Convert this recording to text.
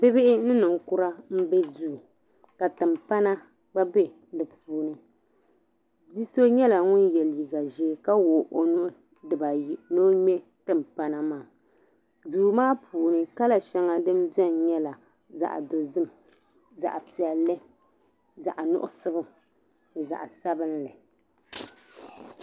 Bibihi ni ninkura m-be duu ka timpana gba be din ni bi so nyɛla ŋun ye liiga ʒee ka wuɣi o nuhi dibaayi ni o ŋmɛ timpana maa duu maa puuni kala shɛŋa din beni nyɛla zaɣ'dozim zaɣ'piɛlli zaɣ'nuɣuso ni zaɣ'sabinli.